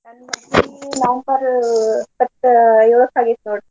ನಂದ್ ಮದ್ವಿ November ಆಗೇತಿ ನೋಡ್ರಿ.